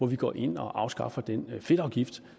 vi går ind og afskaffer den fedtafgift